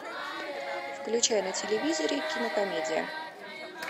включай на телевизоре кинокомедия